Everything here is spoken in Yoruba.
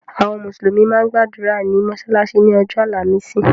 Àwọn mùsùlùmí máa ń gbàdúrà ní mọ́sálásí ni ọjọ́ àlàmísì.